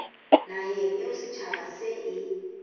naheng eo setjhaba se e